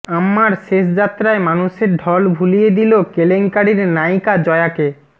আম্মার শেষযাত্রায় মানুষের ঢল ভুলিয়ে দিল কেলেঙ্কারির নায়িকা জয়াকে